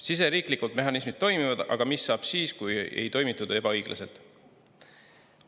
Siseriiklikult mehhanismid toimivad, aga mis saab siis, kui ei toimitud ebaõiglaselt?